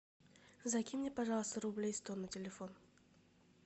закинь мне пожалуйста рублей сто на телефон